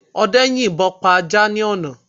Ọdẹ yin ìbọ pa ajá ní àná